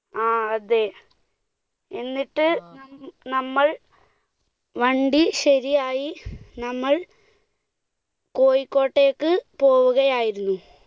ആ അതെ, എന്നിട്ട് നമ്മൾ വണ്ടി ശരിയായി നമ്മൾ കോഴിക്കോട്ടേക്ക് പോവുകയായിരുന്നു.